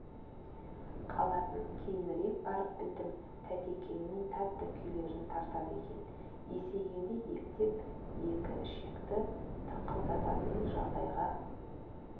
қалатын кейінірек барып білдім тәтекеңнің тәтті күйлерін тартады екен есейгенде ептеп екі ішекті тыңқылдататын жағдайға